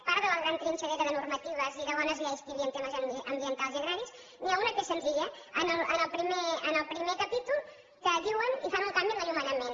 part de la gran trinxadora de normatives i de bones lleis que hi havia en temes ambientals i agraris n’hi ha una que és senzilla en el primer capítol que diuen i fan un canvi en l’enllumenament